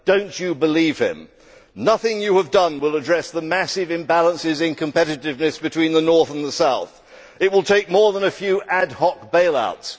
Do not believe him. Nothing the EU has done will address the massive imbalances in competitiveness between the North and the South. It will take more than a few ad hoc bail outs.